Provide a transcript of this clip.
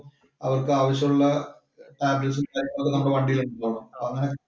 അവര്‍ക്ക് ആവശ്യമുള്ള tabelets ഉം, കാര്യങ്ങളും ഒക്കെ നമ്മുടെ വണ്ടിയില്‍ ഉണ്ടോ?